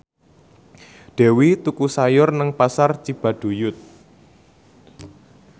Dewi tuku sayur nang Pasar Cibaduyut